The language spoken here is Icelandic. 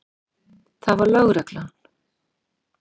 Það var lögreglan.